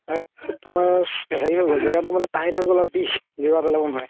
আৰু তুমাৰ হেৰি হয় গ'ল জেগাতো মানে tight হয় গ'ল আৰু বিষ গেৰুৱা নোৱাৰে